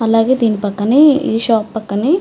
అలాగే దీని పక్కనే ఈ షాప్ పక్కనే--